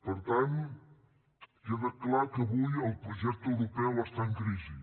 per tant queda clar que avui el projecte europeu està en crisi